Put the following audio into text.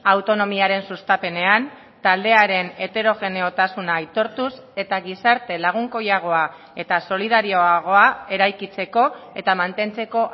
autonomiaren sustapenean taldearen heterogeneotasuna aitortuz eta gizarte lagunkoiagoa eta solidarioagoa eraikitzeko eta mantentzeko